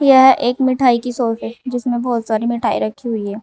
यह एक मिठाई की शॉप है जिसमें बहुत सारी मिठाई रखी हुई है।